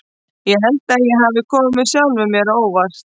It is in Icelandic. Ég held að ég hafi komið sjálfum mér á óvart.